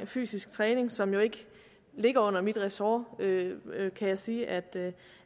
om fysisk træning som jo ikke ligger under mit ressort kan jeg sige at